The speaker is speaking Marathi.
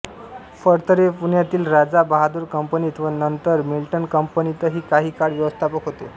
फडतरे पुण्यातील राजा बहादूर कंपनीत व नंतर मिल्टन कंपनीतही काही काळ व्यवस्थापक होते